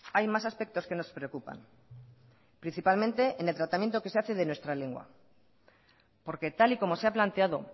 hay más aspectos que nos preocupan principalmente en el tratamiento que se hace de nuestra lengua porque tal y como se ha planteado